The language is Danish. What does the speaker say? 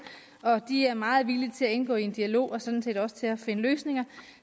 og de er meget villige til at indgå i en dialog og sådan set også til at finde løsninger